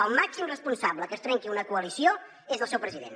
el màxim responsable que es trenqui una coalició és el seu president